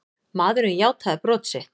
Maðurinn játaði brot sitt.